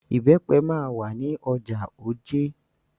Ìbẹ́pẹ máa wà ní ọjà Ojé.